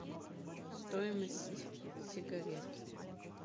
стоимость сигарет